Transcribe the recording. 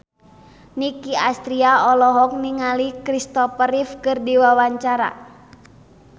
Nicky Astria olohok ningali Kristopher Reeve keur diwawancara